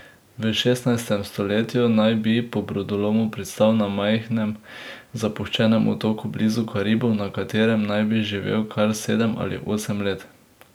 V šestnajstem stoletju naj bi po brodolomu pristal na majhnem zapuščenem otoku blizu Karibov, na katerem naj bi živel kar sedem ali osem let.